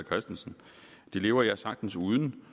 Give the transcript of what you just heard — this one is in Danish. christensen det lever jeg sagtens uden